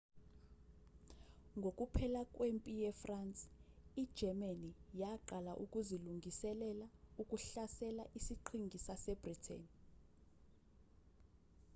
ngokuphela kwempi ye-france i-germany yaqala ukuzilungiselela ukuhlasela isiqhingi sase-britain